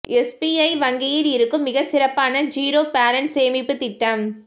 SBI வங்கியில் இருக்கும் மிக சிறப்பான ஜீரோ பேலன்ஸ் சேமிப்பு திட்டம்